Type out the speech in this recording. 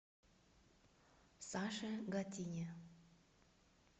саше гатине